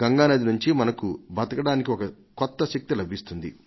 గంగానది నుంచి మనకు బతకడానికి ఒక కొత్త శక్తి లభిస్తుంది